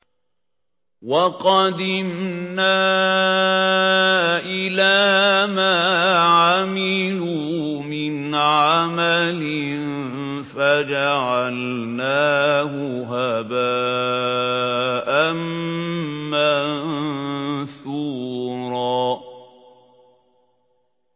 وَقَدِمْنَا إِلَىٰ مَا عَمِلُوا مِنْ عَمَلٍ فَجَعَلْنَاهُ هَبَاءً مَّنثُورًا